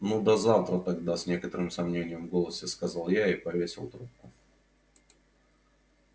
ну до завтра тогда с некоторым сомнением в голосе сказала я и повесила трубку